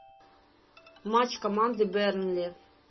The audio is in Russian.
матч команды бернли